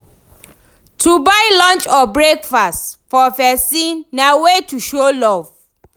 To buy lunch or breakfast for persin na wey to show love